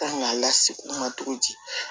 Kan k'a lase u ma cogo di